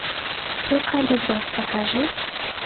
сука любовь покажи